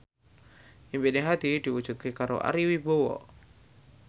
impine Hadi diwujudke karo Ari Wibowo